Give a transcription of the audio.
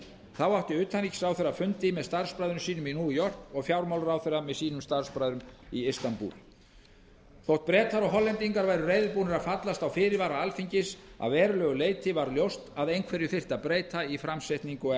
þá átti utanríkisráðherra fundi með starfsbræðrum sínum í york og fjármálaráðherra með sínum starfsbræðrum í istanbúl þótt bretar og hollendingar væru reiðubúnir að fallast á fyrirvara alþingis að verulegu leyti varð ljóst að einhverju þyrfti að breyta í framsetningu og